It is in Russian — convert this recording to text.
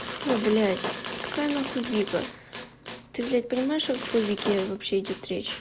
фу блядь какая нахуй вика ты блять понимаешь о какой вике вообще идёт речь